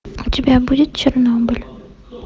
у тебя будет чернобыль